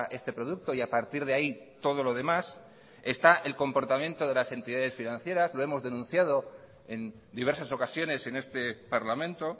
este producto y a partir de ahí todo lo demás está el comportamiento de las entidades financieras lo hemos denunciado en diversas ocasiones en este parlamento